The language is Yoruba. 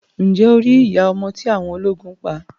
Ǹjẹ́ o rí iya ọmọ tí awọn ọlógún pa?